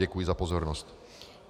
Děkuji za pozornost.